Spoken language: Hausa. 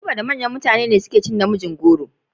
Ibo da manyan mutane ne ke cin na mijin goro.